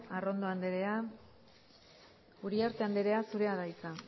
arrondo andrea uriarte andrea zurea da hitza